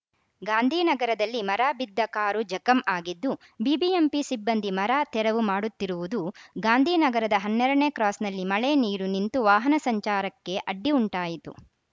ಗಾಂಧಿನಗರದಲ್ಲಿ ಮರ ಬಿದ್ದ ಕಾರು ಜಖಂ ಆಗಿದ್ದು ಬಿಬಿಎಂಪಿ ಸಿಬ್ಬಂದಿ ಮರ ತೆರವು ಮಾಡುವುತ್ತಿರುವುದು ಗಾಂಧಿನಗರದ ಹನ್ನೆರಡ ನೇ ಕ್ರಾಸ್‌ನಲ್ಲಿ ಮಳೆ ನೀರು ನಿಂತು ವಾಹನ ಸಂಚಾರಕ್ಕೆ ಅಡ್ಡಿ ಉಂಟಾಯಿತು